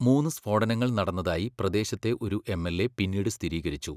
മൂന്ന് സ്ഫോടനങ്ങൾ നടന്നതായി പ്രദേശത്തെ ഒരു എംഎൽഎ പിന്നീട് സ്ഥിരീകരിച്ചു.